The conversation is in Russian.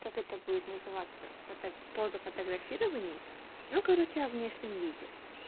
как это будет называться поза фотографировании ну короче о внешнем виде